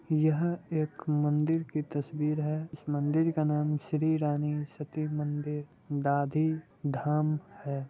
यहाँ एक मंदिर की तसवीर है इस मंदिर का नाम श्री रानी सती मंदिर दादी धाम है।